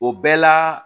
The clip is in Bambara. O bɛɛ la